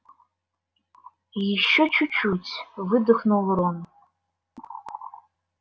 ещё чуть-чуть выдохнул рон